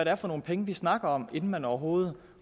er for nogle penge vi snakker om inden man overhovedet